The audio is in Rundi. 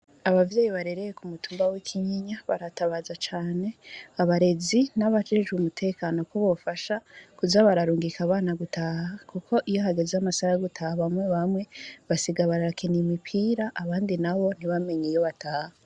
Abavyeyi barereye kumutumba w'Ikinyinya, baratabaza cane abarezi, nabajejewe umutekano, ko bo bafasha Kuza bararungika abana gutaha, kuko iyi hageze Amasaha yo gutaha bamwe bamwe basigara barakina umupira, abandi nabo ntibamenye iyo bataha.